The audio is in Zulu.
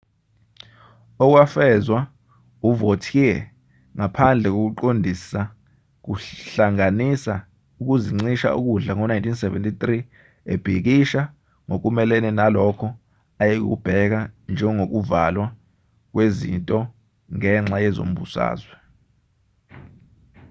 okwafezwa uvautier ngaphandle kokuqondisa kuhlanganisa ukuzincisha ukudla ngo-1973 ebhikisha ngokumelene nalokho ayekubheka njengokuvalwa kwezinto ngenxa yezombusazwe